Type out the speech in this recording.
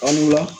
Ali